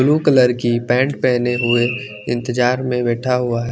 Blue colour की pant पहने हुए इंतजार में बैठा हुआ है।